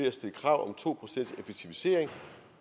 at stille krav om to procents effektivisering